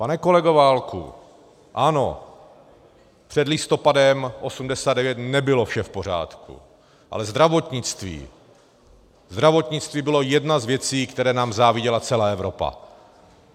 Pane kolego Válku, ano, před listopadem 1989 nebylo vše v pořádku, ale zdravotnictví, zdravotnictví bylo jedna z věcí, které nám záviděla celá Evropa.